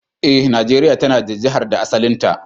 Eh, Najeria ta na da Jihar da asalinta.